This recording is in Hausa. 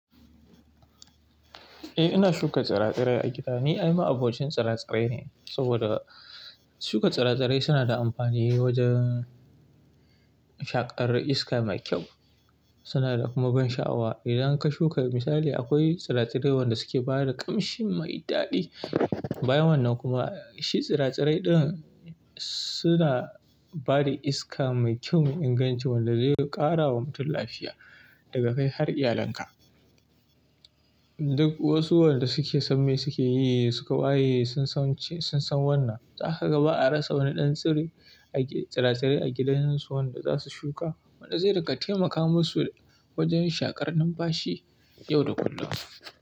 Eh, ina shuka tsira-tsirai a gida. Ni ai ma, abocin tsira-tsirai ne saboda shuka tsire-tsire suna da amfani wajen shaƙar iska mai kyau, suna da kuma ban sha'awa. Idan ka shuka misali akwai tsira-tsirai wanda suke bada ƙamshi mai daɗi. Bayan wannan kuma shi tsira-tsirai ɗin suna bada iska mai kyau, mai inganci wanda zai ƙarawa mutum lafiya daga kai har iyalanka. Duk wasu waɗanda suke san me suke yi, suka waye sun san wannan. Za ka gaba a rasa wani ɗan tsire a gida, tsira-tsirai a gidan su wanda za su shuka wanda zai riƙa taimaka musu wajen shaƙar numfashi yau da kullum.